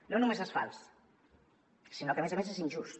no només és fals sinó que a més a més és injust